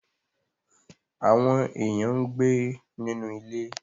Àwọn èèyàn ń gbé nínú ilé